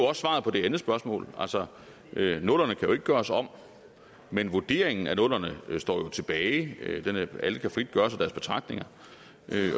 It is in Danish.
også svaret på det andet spørgsmål altså nullerne kan jo ikke gøres om men vurderingen af nullerne står tilbage alle kan frit gøre sig deres betragtninger